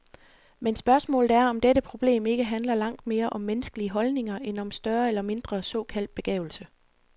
Men spørgsmålet er, om dette problem ikke handler langt mere om menneskelige holdninger end om større eller mindre såkaldt begavelse.